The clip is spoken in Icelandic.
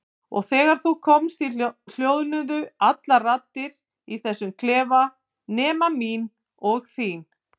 Og þegar þú komst hljóðnuðu allar raddir í þessum klefa nema mín og þín.